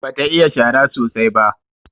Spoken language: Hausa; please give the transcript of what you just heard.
Bata iya shara sosai ba.